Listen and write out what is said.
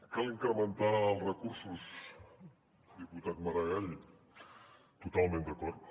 cal incrementar els recursos diputat maragall totalment d’acord